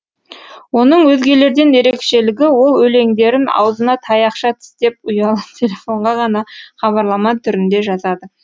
оның өзгелерден ерекшелігі ол өлеңдерін аузына таяқша тістеп ұялы телефонға ғана хабарлама түрінде жазады